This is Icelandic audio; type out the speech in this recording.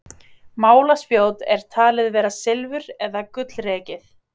Málaspjót er talið vera silfur- eða gullrekið.